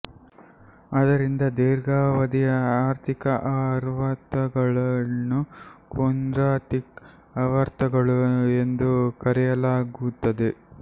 ಅದರಿಂದ ಧಿರ್ಘಾವಧಿ ಆರ್ಥಿಕ ಆವರ್ತಗಳನ್ನು ಕೊಂಡ್ರಾಟಿಫ್ ಆವರ್ತಗಳು ಎಂದು ಕರೆಯಲಾಗುತ್ತದೆ